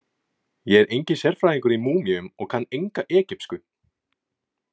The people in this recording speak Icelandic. Ég er enginn sérfræðingur í múmíum og kann enga egypsku.